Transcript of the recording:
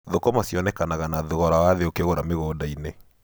Thũkũma cionekanaga na thogora wa thĩ ũkĩgũra mĩgunda-inĩ.